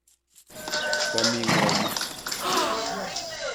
Ka mii ng'o yu?